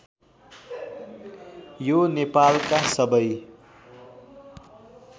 यो नेपालका सबै